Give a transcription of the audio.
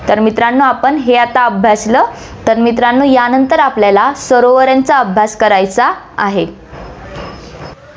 तर मित्रांनो, हे आता अभ्यासलं, तर मित्रांनो, यानंतर आपल्याला सरोवरांचा अभ्यास करायचा आहे.